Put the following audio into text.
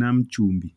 nam chumbi